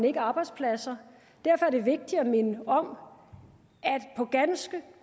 ikke arbejdspladser derfor er det vigtigt at minde om at på ganske